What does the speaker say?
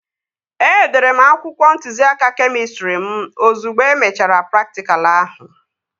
Edere m akwụkwọ ntụziaka kemịstrị mụ ozugbo e mechara praktikal ahụ